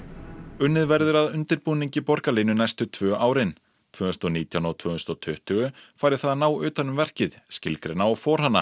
unnið verður að undirbúningi borgarlínu næstu tvö árin tvö þúsund og nítján og tvö þúsund og tuttugu fara í það að ná utan um verkið skilgreina og